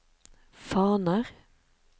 faner